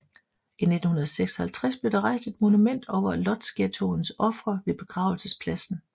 I 1956 blev der rejst et monument over Łódźghettoens ofre ved begravelsespladsen